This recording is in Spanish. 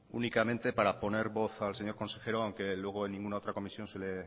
únicamente para poner voz al señor consejero aunque luego en ninguna otra comisión se le